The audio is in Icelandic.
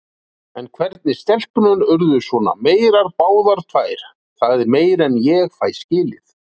En hvernig stelpurnar urðu svona meyrar báðar tvær, það er meira en ég fæ skilið.